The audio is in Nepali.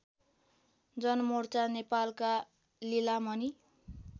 जनमोर्चा नेपालका लिलामणि